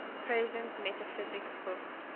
presence metaphysics book